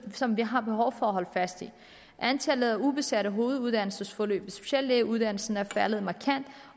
som vi har behov for at holde fast i antallet af ubesatte hoveduddannelsesforløb i speciallægeuddannelsen er faldet markant